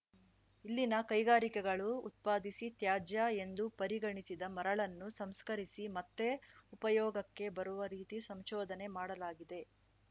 ಇಲ್ಲಿನ ಕೈಗಾರಿಕೆಗಳು ಉತ್ಪಾದಿಸಿ ತ್ಯಾಜ್ಯ ಎಂದು ಪರಿಗಣಿಸಿದ ಮರಳನ್ನು ಸಂಸ್ಕರಿಸಿ ಮತ್ತೆ ಉಪಯೋಗಕ್ಕೆ ಬರುವ ರೀತಿ ಸಂಶೋಧನೆ ಮಾಡಲಾಗಿದೆ